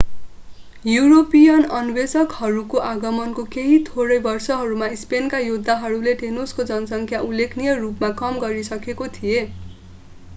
European अन्वेषकहरूको आगमनको केही थोरै वर्षहरूमा स्पेनका योद्धाहरूले टेनोसको जनसङ्ख्या उल्लेखनीय रूपमा कम गरिसकेका थिए